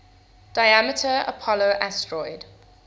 diameter apollo asteroid